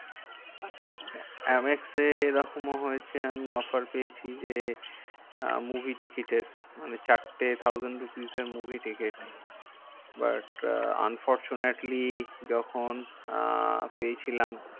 M এক্সে এরকমও হয়েছে আমি offer পেয়েছি যে, movie ticket এর মানে চারটে thousand rupees এর movie ticketbut unfortunately য্খন আহ পেয়েছিলাম